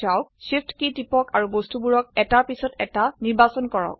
Shift key টিপক আৰু বস্তুবোৰক এটাৰ পিছত এটা নিৰ্বাচন কৰক